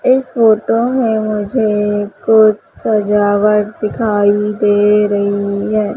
इस फोटो में मुझे कुछ सजावट दिखाई दे रही है।